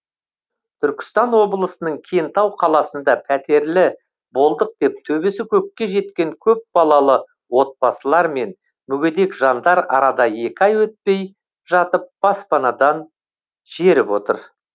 түркістан облысының кентау қаласында пәтерлі болдық деп төбесі көкке жеткен көпбалалы отбасылар мен мүгедек жандар арада екі ай өтпей жатып баспанадан жеріп отыр